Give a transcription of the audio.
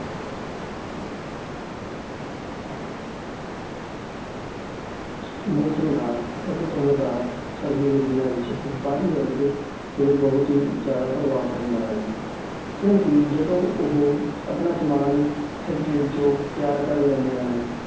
ਮੌਸਮ ਦਾ ਅਤੇ ਧੁੰਦ ਦਾ ਸਰਦੀਆਂ ਦੇ ਦਿਨਾਂ ਵਿੱਚ ਵਪਾਰੀ ਵਰਗ ਤੇ ਬਹੁਤ ਹੀ ਜ਼ਿਆਦਾ ਪ੍ਰਭਾਵ ਪੈਂਦਾ ਹੈ ਕਿਉਂਕਿ ਜਦੋਂ ਉਹ ਆਪਣਾ ਸਮਾਨ factory ਵਿੱਚੋਂ ਤਿਆਰ ਕਰ ਲੈਂਦੇ ਹਨ